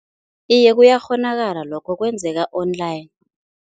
Iye, kuyakghonakala lokho, kwenzeka-online.